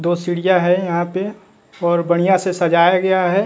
दो सीढ़ियां हैं यहां पे और बढ़िया से सजाया गया है।